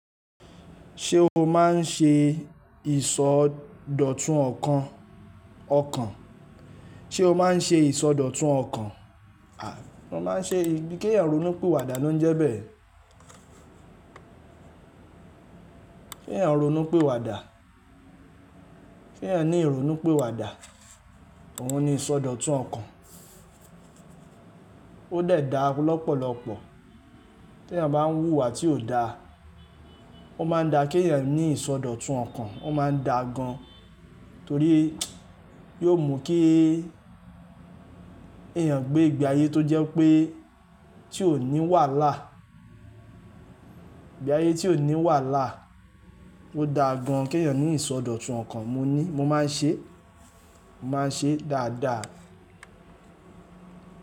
Ṣé o máa ń ṣe ìsọdọ̀tun ọ̀kàn? Ṣé o máa ń ṣe ìsọdọ̀tun ọ̀kàn? Mo máa ń ṣe, ebi kẹ̀eyàn ronú piwàdà ló ń jẹ bẹ́ẹ̀. Kí ẹ̀yàn ronú pé wà dà. Kí ẹ̀eyàn ní ìrònú piwàdà. Òun ni ìsọdọ̀tun ọ̀kàn. Ó de dà lọ́pọ̀lọ́pọ̀ tí ẹ̀eyàn bá ń wúwa tí ò da, ó máa ń da kí ẹ̀eyàn ní ìsọdọ̀tun ọ̀kàn, ó máa ń da gan. Torí yóò mú kí èèyàn gbé ìgbé ayé tó jẹ́ wipé tí ò ní wàhálà, ìgbé ayé tí ò ní wàhálà. Ó dà gan kí eẹ̀yàn ní ìsọdọ̀tun ọ̀kàn. Mo ní mo máa ń ṣe, mo máa ń ṣe dáadáa.